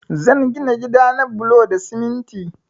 Zan gina gida na da bulo da siminti